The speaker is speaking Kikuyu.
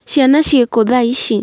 Ciana ciĩkũ thaa ici ?